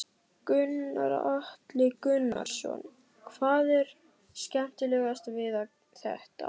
Gunnar Atli Gunnarsson: Hvað er skemmtilegast við þetta?